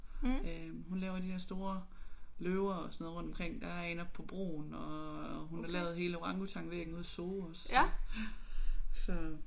Øh hun laver de der store løver og sådan noget rundt omkring. Der er en oppe på broen og hun har lavet hele orangutang-væggen ude i Zoo også så